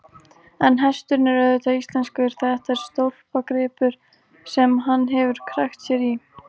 En hesturinn er auðvitað íslenskur, þetta er stólpagripur sem hann hefur krækt sér í.